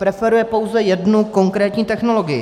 Preferuje pouze jednu konkrétní technologii.